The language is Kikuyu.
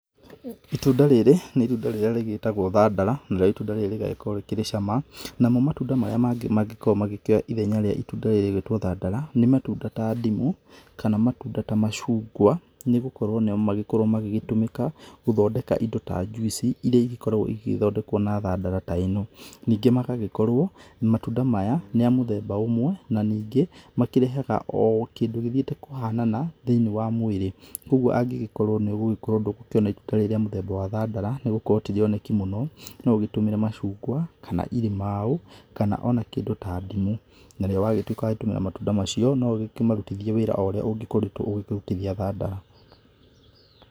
Ĩtunda rĩrĩ nĩ ĩtunda rĩrĩa rĩgĩtagwo thandara narĩo ĩtunda rĩrĩ rĩgagĩkorwo rĩkĩrĩ cama. Namo matunda marĩa mangĩ mangĩkorwo magĩkĩoya ithenya rĩa ĩtunda rĩrĩ rĩgũĩtwo thandara nĩ ĩtunda ta ndimũ kana matunda ta macungwa nĩgũkorwo nĩmogĩkorwo magĩgĩtũmĩka gũthondeka ĩndo ta njuici, ĩria ĩngĩkorwo ĩngĩthondekwo na thandara ta ĩno. Ningĩ magagĩkorwo matunda maya nĩamũthemba ũmwe na ningĩ makĩreha ũũ kĩndũ gĩthĩite kũhanana thĩiniĩ wa mwĩrĩ. Koguo angĩgĩkorwo nĩũgũgĩkorwo ndũgũkĩuona ĩtunda rĩrĩ rĩa mũthemba wa thandara, nĩ ũndũ ti rĩoneki mũno no ũgĩtũmĩre macungwa kana irimaũ kana ona kĩndũ ta ndimũ, narĩo wagĩtuĩka wa gũtũmĩra matunda macio no ũkĩmarutithie wĩra oũrĩa ũngĩkorwo ũkĩrutithia thandara.